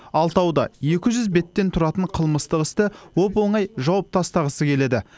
алтауы да екі жүз беттен тұратын қылмыстық істі оп оңай жауып тастағысы келеді